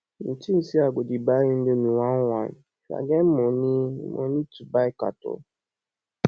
you think say i go dey buy indomie one one if i get money money to buy carton